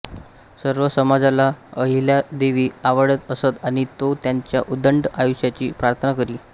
सर्व समाजाला अहिल्यादेवी आवडत असत आणि तो त्यांच्या उदंड आयुष्याची प्रार्थना करी